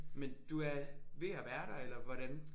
Men du er ved at være der eller hvordan?